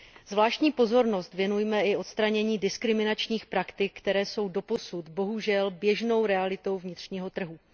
Zvláštní pozornost věnujme i odstranění diskriminačních praktik, které jsou doposud bohužel běžnou realitou vnitřního trhu.